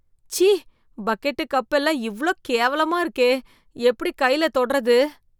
ச்சீ bucket, cup எல்லாம் இவ்ளோ கேவலமா இருக்கே, எப்படி கைல தொடறது?